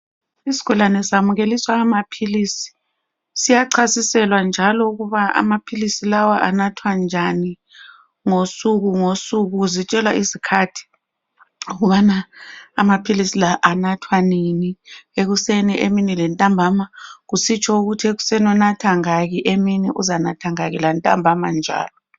Isigulane samukeliswa amaphilisi. Siyachasiselwa njalo ukuba amaphilisi lawa anathwa njani ngosuku ngosuku zitshelwa izikhathi ukubana amaphilisi lawa anathwa nini. Ekuseni ,emini lantambama kusitsho ukuthi ekuseni unatha ngaki, emini uzanatha ngaki lantambama njalo.